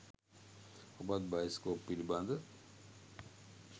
ඔබත් බයිස්කෝප් පිළිබඳ